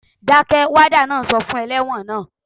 Dákẹ́! Wádà náà sọ fún ẹlẹ́wọ̀n naa